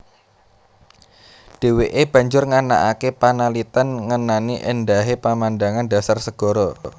Dheweke banjur nganakake panaliten ngenani endahe pemandangan dasar segara